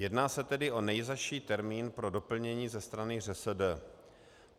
Jedná se tedy o nejzazší termín pro doplnění ze strany ŘSD.